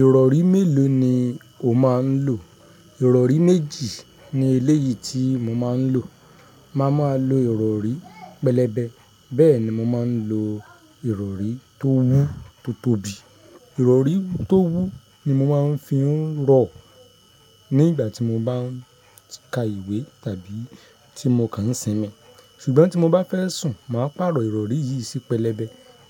Ìrọ̀rí mélòó ni o máa ń lò? Ìrọ̀rí méjì ní eléyìí tí mo máa ń lò. Máa má lo ìrọ̀rí pẹlẹbẹ. Bẹ́ẹ̀ ni mo máa ń lo ìrọ̀rí tó wú tó tóbi. Ìrọ̀rí tó wú ni mo máa ń fi ń rọ̀ ní ìgbà tí mo bá ń ka ìwé tàbí tí mo kàn ń sinmi. Ṣùgbọ́n tí mo bá fẹ́ sùn, màá pàrọ̀ ìrọ̀rí yìí sí pẹlẹbẹ.